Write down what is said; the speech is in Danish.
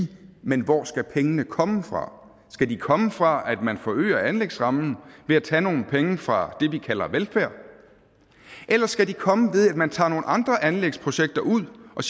men hvor skal pengene komme fra skal de komme fra at man forøger anlægsrammen ved at tage nogle penge fra det vi kalder velfærd eller skal de komme ved at man tager nogle andre anlægsprojekter ud og